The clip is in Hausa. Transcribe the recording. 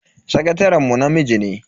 Sakataren mu namiji ne.